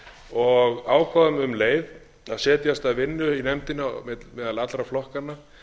og ákváðum um leið að setjast að vinnu í nefndinni meðal allra flokkanna